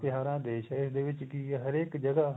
ਤਿਉਹਾਰਾ ਦਾ ਦੇਸ਼ ਏ ਇਹਦੇ ਵਿੱਚ ਕੀ ਏ ਹਰੇਕ ਜਗ੍ਹਾ